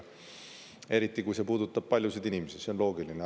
Eriti kui see puudutab paljusid inimesi, see on loogiline.